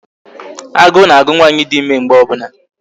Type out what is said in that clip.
Agụ na-agụ nwaanyị dị ịme mgbe ọ bụla